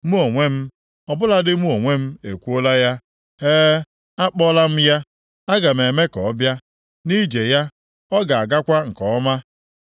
Mụ onwe m, ọ bụladị mụ onwe m ekwuola ya; e, akpọọla m ya. Aga m eme ka ọbịa nʼije ya, ọ ga-agakwa nke ọma.